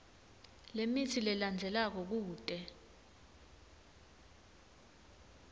lemitsi lelandzelako kute